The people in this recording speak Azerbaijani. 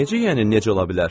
Necə yəni necə ola bilər?